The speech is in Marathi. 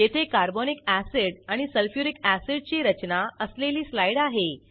येथे कार्बोनिक अॅसिड आणि सल्फ्युरिक अॅसिडची रचना असलेली स्लाईड आहे